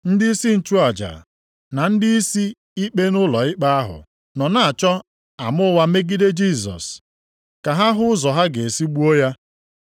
Ndịisi nchụaja, na ndịisi ikpe nʼụlọikpe ahụ nọ na-achọ ama ụgha megide Jisọs, ka ha hụ ụzọ ha ga-esi gbuo ya.